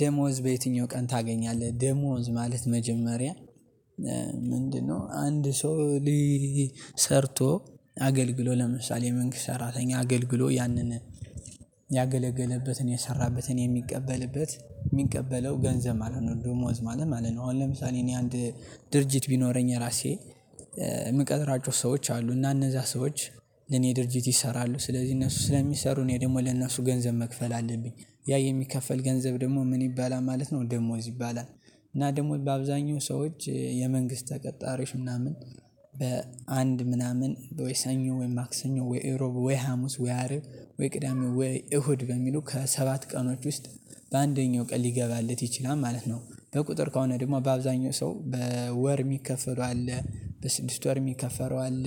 ደሞዝ በየትኛው ቀን ታገኛለህ ደሞዝ ማለት መጀመሪያ ምንድነው? አንድ ሰው ሊ ሰርቶ አገልግሎ ለምሳሌ የመንግስት ሰራተኛ አገልግሎ ያንን ያገለገለበትን የሰራበትን የሚቀበልበት የሚቀበለው ገንዘብ ማለት ነው ደሞዝ ማለት ነው። አሁን ለምሳሌ እኔ አንድ ድርጅት ቢኖረኝ የራሴ እምቀጥራቸው ሰዎች አሉ እና እነዛ ሰዎች ለኔ ድርጅት ይሰራሉ ስለዚህ እነሱ ስለሚሰሩ እኔ ደግሞ ለነሱ ገንዘብ መክፈል አለብኝ ያ የሚከፈል ገንዘብ ደግሞ ምን ይባላል ማለት ነው ደሞዝ ይባላል። እና ደግሞ በአብዛኛው ሰዎች የመንግስት ተቀጣሪዎች ምናምን በአንድ ምናምን ወይ ሰኞ ወይ ማክሰኞ ወይ እሮብ ወይ ሀሙስ ወይ አርብ ወይ ቅዳሜ ወይ እሁድ በሚሉ ከሰባት ቀኖች ውስጥ በአንደኛው ቀን ሊገባለት ይችላል ማለት ነው። በቁጥር ከሆነ ደግሞ በአብዛኛው ሰው በወር የሚከፈለው አለ በስድስት ወር የሚከፈለው አለ።